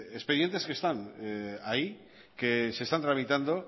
expedientes que están ahí que se están tramitando